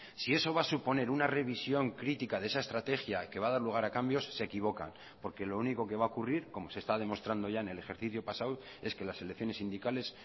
si eso va a suponer una revisión crítica de esa estrategia que va a dar lugar a cambios se equivoca porque lo único que va a ocurrir como se está demostrando ya en el ejercicio pasado es que las elecciones sindicales